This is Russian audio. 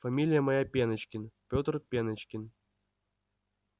фамилия моя пеночкин пётр пеночкин